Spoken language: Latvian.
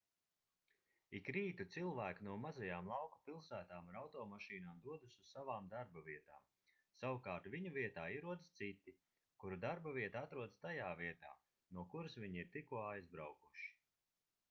ik rītu cilvēki no mazajām lauku pilsētām ar automašīnām dodas uz savām darbavietām savukārt viņu vietā ierodas citi kuru darbavieta atrodas tajā vietā no kuras viņi ir tikko aizbraukuši